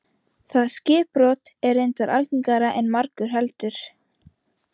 Það skipbrot er reyndar algengara en margur heldur.